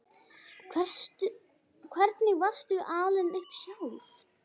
Hvernig varstu alin upp sjálf?